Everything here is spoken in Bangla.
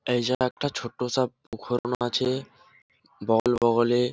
এই যে একটা ছোট্ট ।